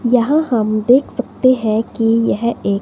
यहां हम देख सकते हैं कि यह एक--